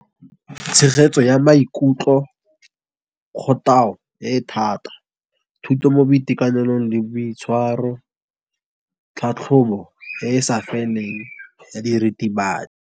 Tshegetso ya maikutlo kgothatso e thata, thuto mo boitekanelong le boitshwaro tlhatlhobo e e sa feleng ya diritibatsi.